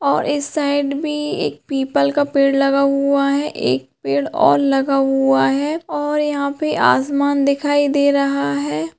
और इस साइड भी एक पीपल का पेड़ लगा हुआ हैं एक पेड़ ओर लगा हुआ हैं और यहां पे आसमान दिखाई दे रहा हैं।